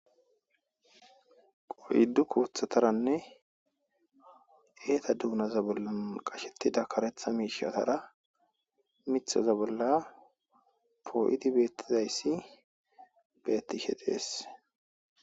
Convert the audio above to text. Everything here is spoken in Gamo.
Qoyiddu koothataranne eeta duunaza bolla qashettida karetha miishatara mithoza bolla poo7idi bettizayssi bettishe xees.